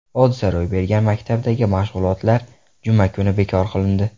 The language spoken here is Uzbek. Hodisa ro‘y bergan maktabdagi mashg‘ulotlar juma kuni bekor qilindi.